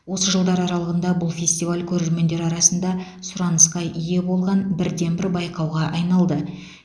осы жылдар аралығында бұл фестиваль көрермендер арасында сұранысқа ие болған бірден бір байқауға айналды